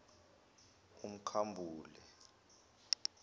umkhambule